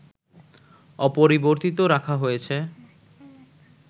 অপরিবর্তিত রাখা হয়েছে